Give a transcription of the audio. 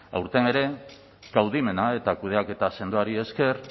aurten ere kaudimena eta kudeaketa sendoari esker